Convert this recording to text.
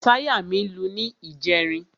Táyà mí lu ní ìjẹrin.